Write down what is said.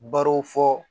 Barow fɔ